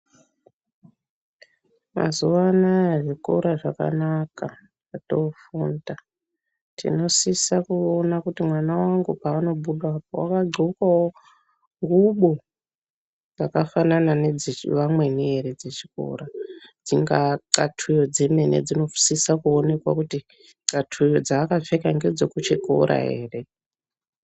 Mazuwa anaya zvikora zvakanaka zvatofunda tinosisa kuona kuti mwana wangu paanobudapo wadhlokawo ngubo dzakafanana nedzevamweni ere dzechikora dzingaa thlatuyo dzemene dzinosisa kuonekwa kuti thlatuyo dzaakapfeka ngedzekuchikora ere.